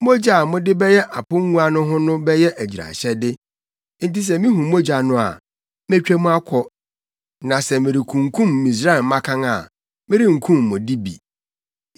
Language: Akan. Mogya a mode bɛyɛ apongua no ho no bɛyɛ agyiraehyɛde, enti sɛ mihu mogya no a, metwa mu akɔ, na sɛ merekunkum Misraim mmakan a, merenkum mo de bi.